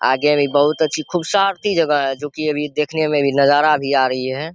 आगे भी बहुत अच्छी खूबसूरती जगह है जो कि अभी देखने में भी नजारा भी आ रही है।